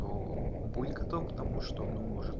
нуу будь готов к тому что ну может